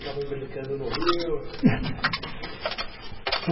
Ficavam brincando no rio.